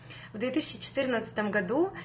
в две тысячи четырнадцатом году